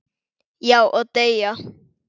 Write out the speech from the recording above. Já, og deyja